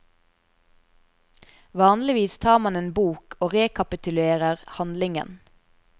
Vanligvis tar man en bok og rekapitulerer handlingen.